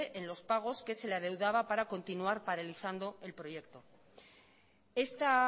en los pagos que se la adeudaba para continuar paralizando el proyecto esta